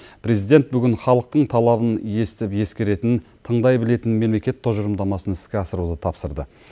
президент бүгін халықтың талабын естіп ескеретін тыңдай білетін мемлекет тұжырымдамасын іске асыруды тапсырды